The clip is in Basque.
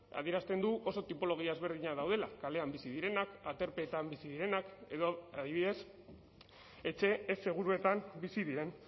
adierazten du oso tipologia ezberdinak daudela kalean bizi direnak aterpeetan bizi direnak edo adibidez etxe ez seguruetan bizi diren